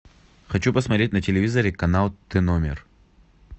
хочу посмотреть на телевизоре канал тномер